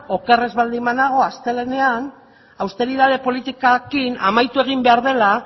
oker ez baldin banago astelehenean austeritate politikarekin amaitu egin behar dela